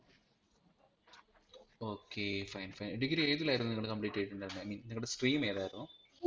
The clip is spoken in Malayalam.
okay Fine Fine Degree ഏതിലായിരുന്നു നിങ്ങൾ complete ചെയ്‌തിട്ടിണ്ടായിരുന്നെ i mean നിങ്ങടെ stream ഏതായിരുന്നു